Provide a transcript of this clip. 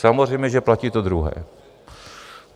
Samozřejmě že platí to druhé.